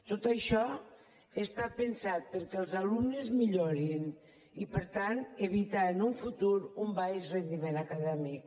tot això està pensat perquè els alumnes millorin i per tant evitar en un futur un baix rendiment acadèmic